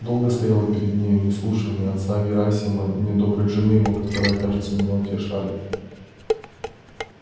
долго стоял я перед нею не слушая ни отца герасима ни доброй жены его которые кажется меня утешали